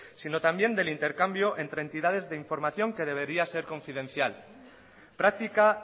sino también del intercambio entre entidades de información de debería ser confidencial praktika